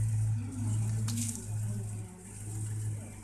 No mũhaka ũthime wĩra ũrĩa ũraruta